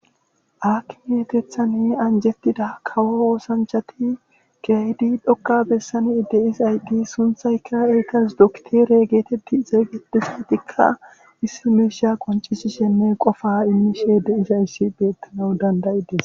Aakime keethankka anjetida kawo oosanchati keehidi dhoqqa besan de'izayti sunththaykka ettas dokitere geetethi xeegetizayssati issi miishsha qoncesishenne qofa imishe de'izayssi beetanawu dand'idees.